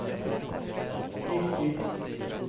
nittio